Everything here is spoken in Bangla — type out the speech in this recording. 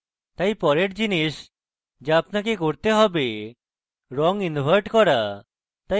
তাই পরের জিনিস so আপনাকে করতে হবে রঙ invert করা